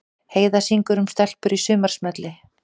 Heiða syngur um stelpur í sumarsmelli